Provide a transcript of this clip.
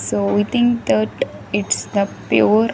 So within that its the pure --